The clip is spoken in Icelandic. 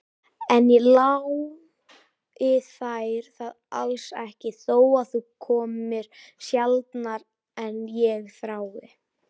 En ég lái þér það alls ekki, þó að þú komir sjaldnar en ég þrái.